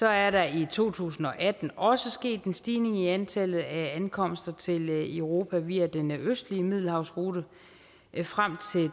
er der i to tusind og atten også sket en stigning i antallet af ankomster til europa via den østlige middelhavsrute frem